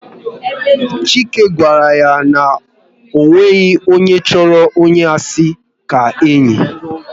Chike gwara ya na ọ nweghị onye chọrọ onye asị ka enyi